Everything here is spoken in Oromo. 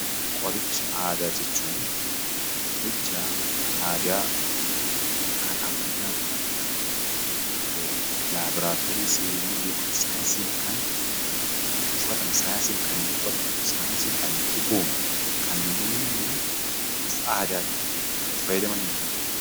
Qoricha aadaa jechuun qorichaa aadaa kan ammayyaa hin tane; labooraatoorii seenee saayinsiin kan hin qoratamne; kan hin dhugoomne; kan namoonni bifa aadaatiin itti fayyadamanidha.